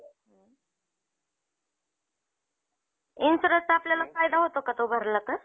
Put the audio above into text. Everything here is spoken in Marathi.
insuranceचा आपल्याला फायदा होतो का तो भरला तर